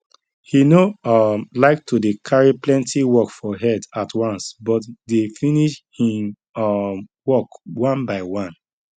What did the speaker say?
he no um like to dey carry plenti work for head at once but dey finish hin um work one by one